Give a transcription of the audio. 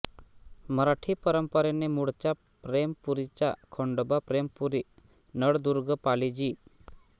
मराठी परंपरेने मूळचा प्रेमपुरीचा खंडोबा प्रेमपुरी नळदुर्ग पाली जि